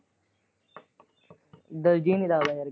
ਦਿਲ ਜਿਹਾ ਨਹੀਂ ਲੱਗਦਾ ਮੇਰਾ।